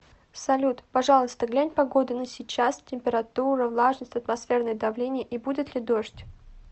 салют пожалуйста глянь погоду на сейчас температура влажность атмосферное давление и будет ли дождь